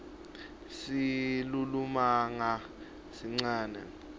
silulumagama sincane